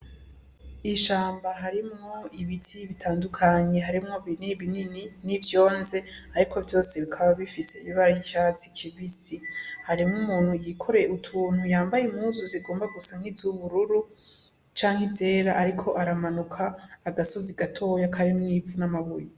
Ishamba harimwo ibiti bitandukanye, harimwo binini n'ivyonze ariko vyose bikaba bifise ibara riy'icatsi kibisi. Hariho umuntu yikoreye utuntu yambaye impuzu zigomba gusa n'izubururu canke izera, ariko aramanuka agasozi gatoya karimwo ivu n'amabuye.